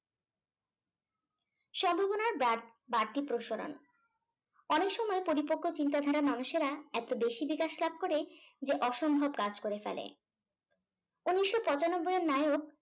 সম্ভাবনার বার বাড়তি অনেক সময় পরিপক্ক চিন্তাধারা মানুষেরা এত বেশি বিকাশ লাভ করে যে অসম্ভব কাজ করে ফেলে। উনিশশো পঁচানব্বই এর নায়ক